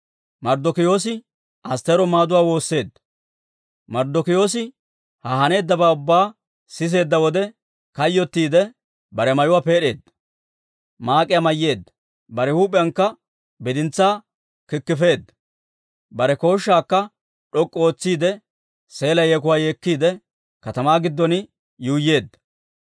Marddokiyoosi ha haneeddabaa ubbaa siseedda wode, kayyottiide bare mayuwaa peed'eedda; maak'iyaa mayyeedda; bare huup'iyankka bidintsaa kikifeedda. Bare kooshshaakka d'ok'k'u ootsiide, seela yeekuwaa yeekkiide, katamaa giddon yuuyyeedda.